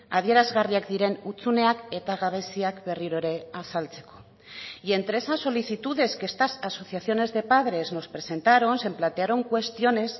adierazgarriak diren hutsuneak eta gabeziak berriro ere azaltzeko y entre esas solicitudes que estas asociaciones de padres nos presentaron se plantearon cuestiones